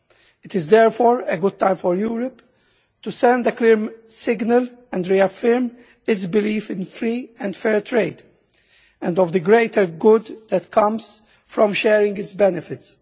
It is therefore a good time for Europe to send a clear signal and reaffirm its belief in free and fair trade and the greater good that comes from sharing its benefits.